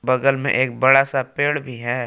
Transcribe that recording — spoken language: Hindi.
बगल में एक बड़ा सा पेड़ भी है।